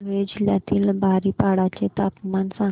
धुळे जिल्ह्यातील बारीपाडा चे तापमान सांग